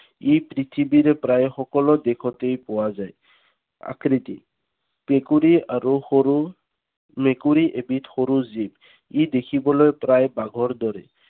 ই পৃথিৱীৰ প্ৰায় সকলো দেশত পোৱা যায়। আকৃতি। মেকুৰী আৰু সৰু, মেকুৰী এবিধ সৰু জীৱ। ই দেখিবলৈ প্ৰায় বাঘৰ দৰে।